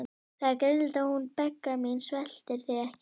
Það er greinilegt að hún Begga mín sveltir þig ekki.